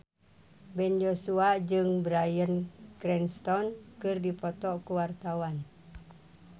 Ben Joshua jeung Bryan Cranston keur dipoto ku wartawan